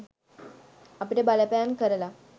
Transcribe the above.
අපිට බලපෑම් කරල